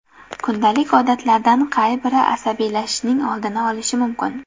Kundalik odatlardan qay biri asabiylashishning oldini olishi mumkin?.